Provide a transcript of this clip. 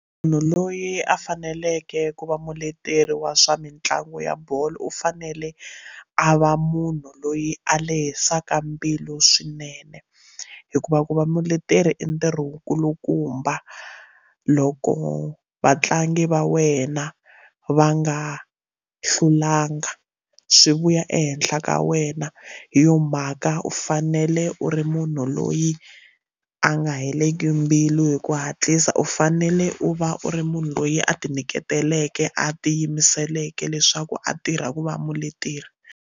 Munhu loyi a faneleke ku va muleteri wa swa mitlangu ya bolo u fanele a va munhu loyi a lehisaka mbilu swinene hikuva ku va muleteri i ntirho wu nkulukumba loko a vatlangi va wena va nga hlulanga swi vuya ehenhla ka wena hi yo mhaka u fanele u ri munhu loyi a nga heleli mbilu hi ku hatlisa u fanele u va u ri munhu loyi a ti nyiketeleke a tiyimisela veke leswaku a tirha ku va muleteri.